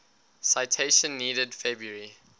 citation needed february